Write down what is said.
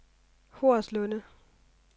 Horslunde